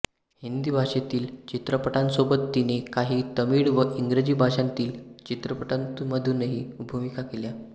हिंदी भाषेतील चित्रपटांसोबत तिने काही तमिळ व इंग्रजी भाषांतील चित्रपटांमधूनही भूमिका केल्या